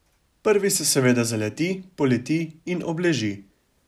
Prvi se seveda zaleti, poleti in obleži.